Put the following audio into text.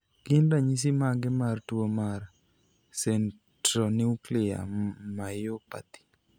Gin ranyisi mage mar tuo mar Centronuclear myopathy?